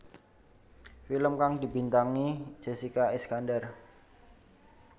Film kang dibintangi Jessica Iskandar